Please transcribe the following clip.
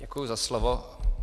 Děkuji za slovo.